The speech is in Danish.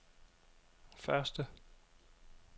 første